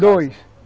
Dois.